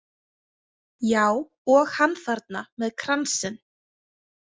Já, og hann þarna með kransinn.